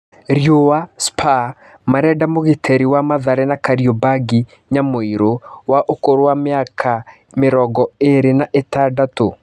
(Riũa) Spa marendamũgitĩ ri wa Mathare na Kariombangi Nyamũirũ, wa ũkũrũ wa mĩ aka mĩ rongo ĩ rĩ na ĩ tandatũ.